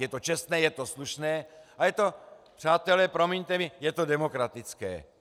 Je to čestné, je to slušné a je to, přátelé, promiňte mi, je to demokratické.